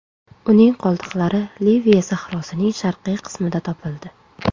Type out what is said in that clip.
Uning qoldiqlari Liviya sahrosining sharqiy qismida topildi.